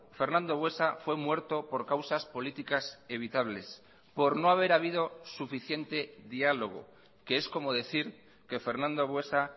fernando buesa fue muerto por causas políticas evitables por no haber habido suficiente diálogo que es como decir que fernando buesa